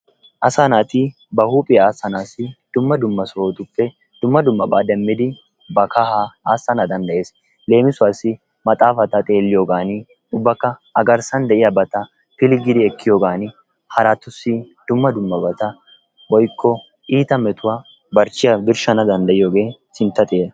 Asaa naati ba huuphphiyaa asanaasi dumma dumma sohotuppe dumma dummaba deemmidi ba kahaa aassana danddayees. Leemisuwaasi maxaafaata xeelliyoogaani ubbaka a garssan de'iyaabata pilggiidi ekkiyoogan haraatussi dumma dummabata woykko iitta metuwaa barchchiyaa birshshana danddayiyoogee sintta xeera.